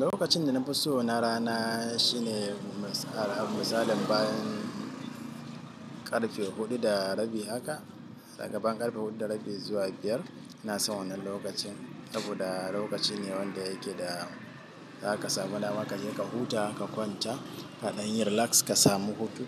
Lokacin da na fi so na rana shine misalan bayan ƙarfe huɗu da rabi haka, gaban ƙarfe huɗu da rabi zuwa biyar. Ina son wannan lokacin saboda lokaci ne wanda yake da za ka samu damar ka je ka huta, ka kwanta, kaɗanyi relax, ka samu hutu.